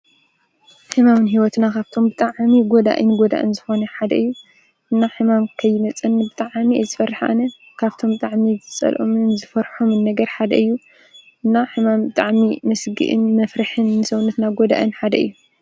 ሕማውን ሕይወትና ኻብቶም ብጣዓሚ ጐዳ ኢኢን ጐዳእን ዝኾነ ሓደ እዩ እና ሕማም ከይመጸኒ ብጥዓሚ ዝፈርኃነ ካብቶም ጥዕሚ ዝጸልኦምን ዝፈርሖምን ነገር ሓደ እዩ እና ሕማም ጥዕሚ መስጊእን መፍርኅን ሰውነትና ጐዳእን ሓደ እዩ።